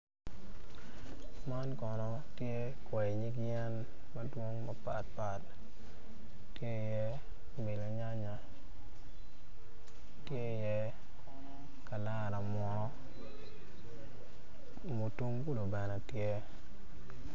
Man Kono tye kwai nyig yen madwong mapat pat tye iye birinyanya, tye iye kalara munu mutungulu bene tye.